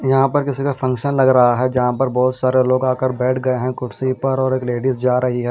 यहां पर किसी का फंक्शन लग रहा है जहां पर बहोत सारे लोग आकर बैठ गए है कुर्सी पर और एक लेडिस जा रही है।